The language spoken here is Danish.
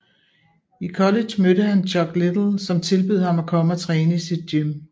I college mødte han Chuck Liddell som tilbød ham at komme og træne i sit gym